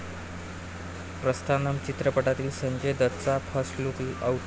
प्रस्थानम चित्रपटातील संजय दत्तचा first look out